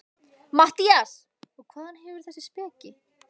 MATTHÍAS: Og hvaðan hefurðu þessa speki?